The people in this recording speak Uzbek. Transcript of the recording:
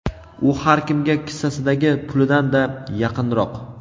u har kimga kissasidagi pulidan-da yaqinroq.